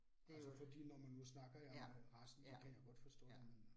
Altså fordi når man nu snakker jeg om resten, så kan jeg jo godt forstå det men øh